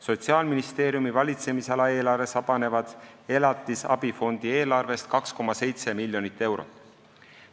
Sotsiaalministeeriumi valitsemisala eelarves vabaneb elatisabifondi eelarvest 2,7 miljonit eurot.